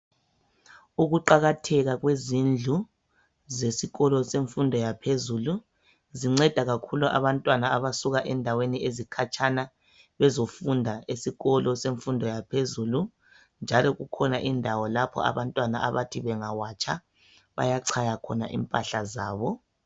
Ukuqakatheka kwezindlu zesikolo semfundo yaphezulu zinceda kakhulu abantwana abasuka endaweni ezikhatshana bezofunda esikolo semfundo yaphezulu njalo kukhona indawo lapho abantwana abathi bengawatsha bayachaya khona impahla zabo.